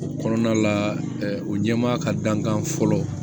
O kɔnɔna la o ɲɛmaa ka dankan fɔlɔ